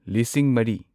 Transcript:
ꯂꯤꯁꯤꯡ ꯃꯔꯤ